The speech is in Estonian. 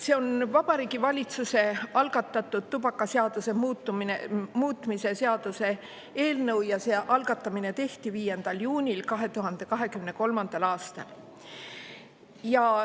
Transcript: See on Vabariigi Valitsuse algatatud tubakaseaduse muutmise seaduse eelnõu ja algatamine tehti 5. juunil 2023. aastal.